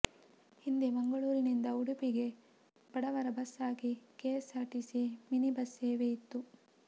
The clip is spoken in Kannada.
ಹಿಂದೆ ಮಂಗಳೂರಿನಿಂದ ಉಡುಪಿಗೆ ಬಡವರ ಬಸ್ ಆಗಿ ಕೆಎಸ್ಸಾರ್ಟಿಸಿ ಮಿನಿ ಬಸ್ ಸೇವೆ ಇತ್ತು